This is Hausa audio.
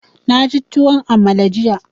Na ci tuwon amala jiya.